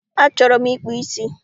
Achọrọ m ịkpụ ísí